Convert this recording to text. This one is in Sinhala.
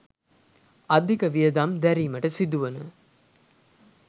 අධික වියදම් දැරීමට සිදුවන